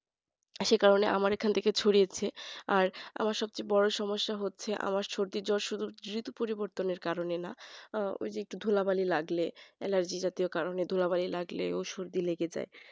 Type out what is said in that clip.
সেই কারণে আমার এখান থেকেই ছড়িয়েছে আর আমার সবচেয়ে বড় সমস্যা হচ্ছে আমার সর্দি জ্বর যেহেতু পরিবর্তনের কারণে না ধুলাবালি লাগলে allergy লাগলে বা সর্দি লাগলে